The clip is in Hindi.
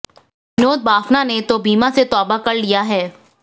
विनोद बाफना ने तो बीमा से तौबा कर लिया है